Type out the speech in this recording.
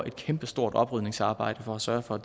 et kæmpestort oprydningsarbejde for at sørge for